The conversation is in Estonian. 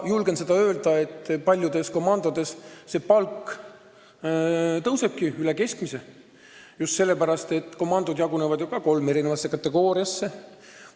Julgen kindlalt öelda, et paljudes komandodes palk tõusebki üle keskmise, just sellepärast, et komandod jagunevad kolme eri kategooriasse.